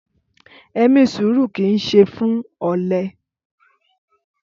Ẹmí sùrú kí ń ṣẹ fún ọlẹ